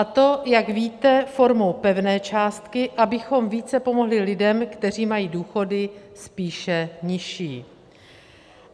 - A to, jak víte, formou pevné částky, abychom více pomohli lidem, kteří mají důchody spíše nižší.